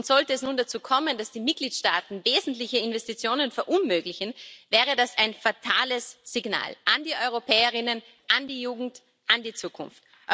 Sollte es nun dazu kommen, dass die Mitgliedstaaten wesentliche Investitionen verunmöglichen, wäre das ein fatales Signal an die Europäerinnen und Europäer, an die Jugend, an die Zukunft.